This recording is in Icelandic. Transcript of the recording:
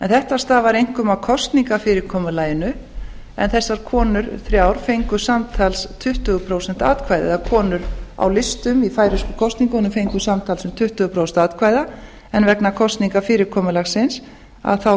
þetta stafar einkum af kosningafyrirkomulaginu en þessar konur þrjár fengu samtals tuttugu prósent eða konur á listum í færeyska kosningunum fengu samtals um tuttugu prósent atkvæða en vegna kosningafyrirkomulaginu skilaði það